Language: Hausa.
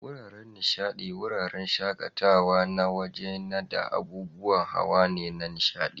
Wuraren nishadi, wuraren shaƙatawa na waje ne da abubuwan hawa na nishaɗi.